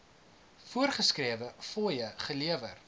voorgeskrewe fooie gelewer